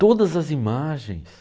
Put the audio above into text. Todas as imagens.